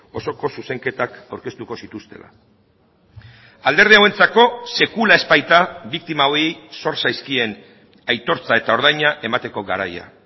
osoko zuzenketak aurkeztuko zituztela alderdi hauentzako sekula ez baita biktima hauei zor zaizkien aitortza eta ordaina emateko garaia